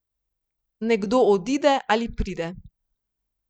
Nekdo odide ali pride.